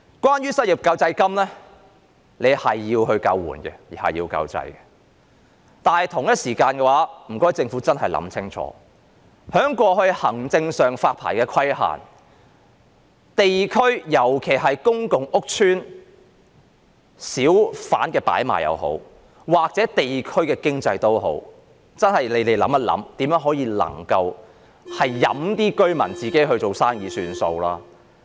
關於失業救濟金，這是用來救援、救濟的，但政府同時間真的要想清楚，過去在發牌上的行政規限，無論是在公共屋邨或地區的小販擺賣，甚至是地區經濟，當局真的要想想能否任由居民自行做生意。